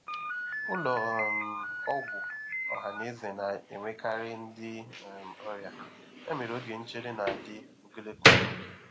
Ụlọ um ọgwụ ọha na eze na-enwekarị ndị um ọrịa, ya mere oge nchere na-adị ogologo oge.